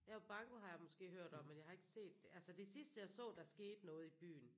Jo banko har jeg måske hørt om men jeg har ikke set altså det sidste jeg så der skete noget i byen